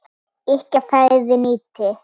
Ykkar færi nýtið.